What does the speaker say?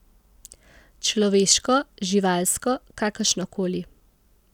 Človeško, živalsko, kakršno koli.